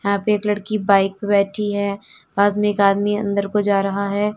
यहां पे एक लड़की बाइक पे बैठी है पास में एक आदमी अंदर को जा रहा है।